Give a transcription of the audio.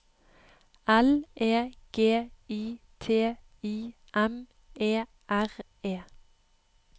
L E G I T I M E R E